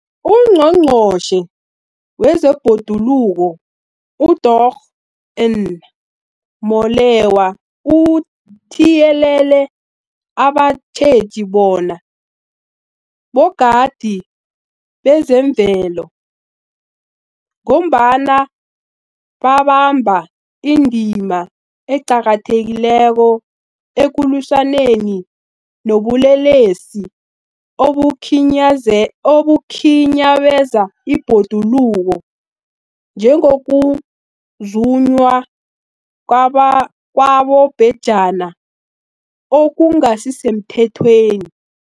UNgqongqotjhe wezeBhoduluko uDorh Edna Molewa uthiyelele abatjheji bona bogadi bezemvelo, ngombana babamba indima eqakathekileko ekulwisaneni nobulelesi obukhinyabeza ibhoduluko, njengokuzunywa kwabobhejani okungasisemthethweni.